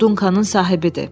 O Duncanın sahibidir.